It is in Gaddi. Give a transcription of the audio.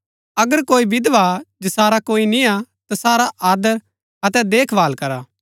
अगर कोई विधवा हा जसारा कोई निय्आ तसारा आदर अतै देखभाल करा